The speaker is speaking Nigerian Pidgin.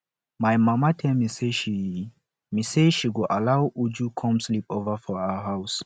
my mama tell me say she me say she go allow uju come sleep over for our house